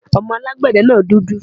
Ọmọ alágbẹ̀de náà dúdú